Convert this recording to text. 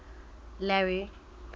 larry